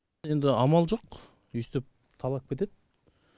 енді амал жоқ өйстіп талап кетеді